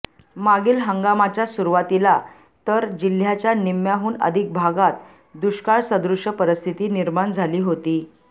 मागील हंगामाच्या सुरुवातीला तर जिल्ह्याच्या निम्म्याहून अधिक भागात दुष्काळसदृश परिस्थिती निर्माण झाली होती